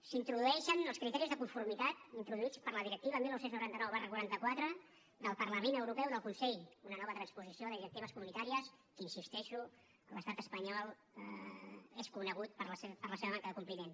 s’introdueixen els criteris de conformitat introduïts per la directiva dinou noranta nou quaranta quatre del parlament europeu del consell una nova transposició de directives comunitàries que hi insisteixo l’estat espanyol és conegut per la seva manca de compliment